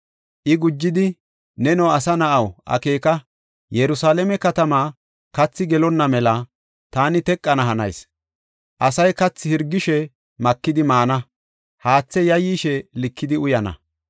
I gujidi, “Neno, asa na7aw, akeeka! Yerusalaame katamaa kathi gelonna mela taani teqana hanayis. Asay kathi hirgishe makidi maana; haathe yayyishe likidi uyana.